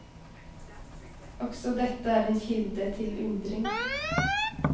Også dette er en kilde til undring.